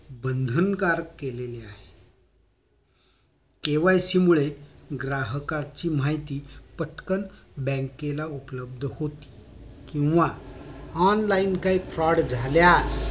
बंधनकारक केलेलं आहे KYC मुळे ग्राहकांची माहिती पटकन बँकेला उपलब्ध होते किंवा online काही fraud झाल्यास